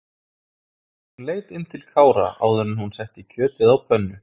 Hún leit inn til Kára áður en hún setti kjötið á pönnu.